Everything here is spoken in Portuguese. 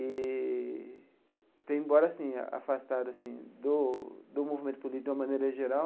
E, tenho embora assim afastado assim do do movimento político de uma maneira geral,